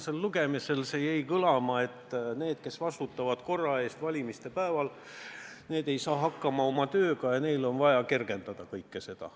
Esimesel lugemisel jäi kõlama, et need, kes valimispäeval korra eest vastutavad, ei saa oma tööga hakkama ja nende jaoks on seda olukorda vaja kergendada.